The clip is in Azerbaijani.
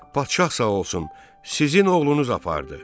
Padşah sağ olsun, sizin oğlunuz apardı.